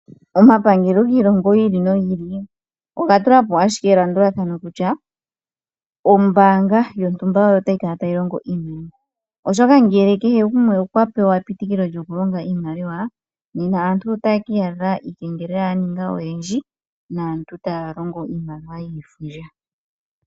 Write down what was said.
Omapangelo giilongo yiili no yiili oga tulapo ashike elandulathano kutya ombaanga yontumba oyo tayi kala tayi longo iimaliwa, oshoka ngele kehe gumwe okwa pewa epitikilo djoku longa iimaliwa nena aantu otaye kii adha iikengelela ya ninga oyindji naantu taya longo iimaliwa yiifundja.